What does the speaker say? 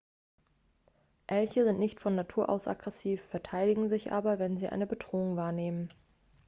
elche sind nicht von natur aus aggressiv verteidigen sich aber wenn sie eine bedrohung wahrnehmen